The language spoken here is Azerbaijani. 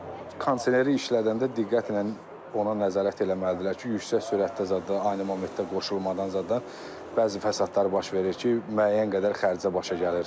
Bir də ki, kondisioneri işlədəndə diqqətlə ona nəzarət eləməlidirlər ki, yüksək sürətdə zada, ani momentdə qoşulmadan zada bəzi fəsadlar baş verir ki, müəyyən qədər xərcə başa gəlir.